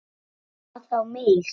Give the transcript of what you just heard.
Haki getur átt við